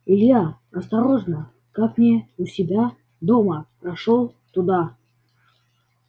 илья осторожно как не у себя дома прошёл туда